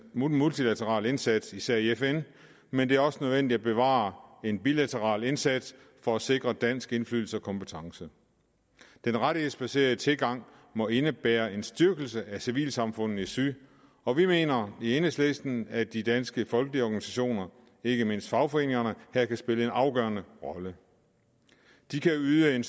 multilaterale indsats især i fn men det er også nødvendigt at bevare en bilateral indsats for at sikre dansk indflydelse og kompetence den rettighedsbaserede tilgang må indebære en styrkelse af civilsamfundene i syd og vi mener i enhedslisten at de danske folkelige organisationer ikke mindst fagforeningerne her kan spille en afgørende rolle de kan yde en